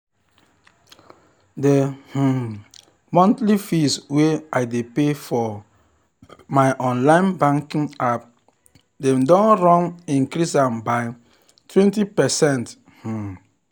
the um monthly fees wey i dey pay for um my online banking app dem don run increase am by 20%. um